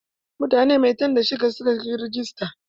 Mutane maitan da shida suka yi rajista.